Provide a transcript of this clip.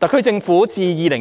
特區政府自2018